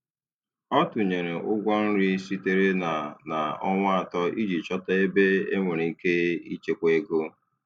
Ọ tụnyere ụgwọ nri sitere na na ọnwa atọ iji chọta ebe enwere ike ịchekwa ego.